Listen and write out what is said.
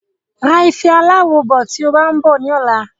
Ra ife aláwo bọ̀ tí o bá ń bọ̀ ní ọ̀la